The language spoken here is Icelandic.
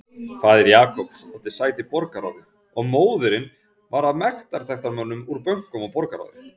Faðir Jacobs átti sæti í borgarráði og móðirin var af mektarmönnum úr bönkum og borgarráði.